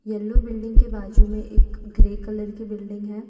Yellow building के बाजू में एक ग्रे कलर के बिल्डिंग हैं।